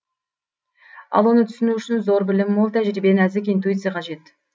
ал оны түсіну үшін зор білім мол тәжірибе нәзік интуиция қажет